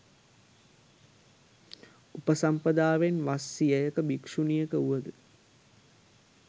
උපසම්පදාවෙන් වස් සියයක භික්‍ෂුණියක වුවද